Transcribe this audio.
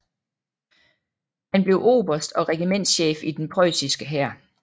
Han blev oberst og regimentschef i den preussiske hær